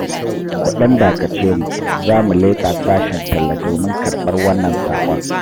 Ku ɗan dakace mu, za mu leƙa sashen talla domin karɓar wannan saƙon.